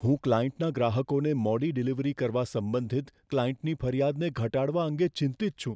હું ક્લાયન્ટના ગ્રાહકોને મોડી ડિલિવરી કરવા સંબંધિત ક્લાયન્ટની ફરિયાદને ઘટાડવા અંગે ચિંતિત છું.